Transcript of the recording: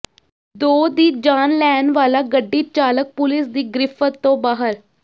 ਦੋ ਦੀ ਜਾਨ ਲੈਣ ਵਾਲਾ ਗੱਡੀ ਚਾਲਕ ਪੁਲੀਸ ਦੀ ਗ੍ਰਿਫ਼ਤ ਤੋਂ ਬਾਹਰ